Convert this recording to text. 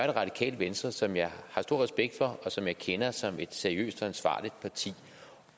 det radikale venstre som jeg har stor respekt for og som jeg kender som et seriøst og ansvarligt parti